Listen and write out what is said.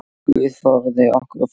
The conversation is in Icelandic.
Guð forði okkur frá því.